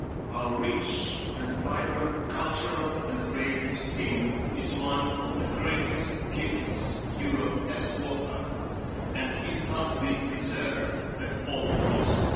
Our rich and vibrant cultural and creative scene is one of the greatest gifts Europe has to offer and it must be preserved at all costs.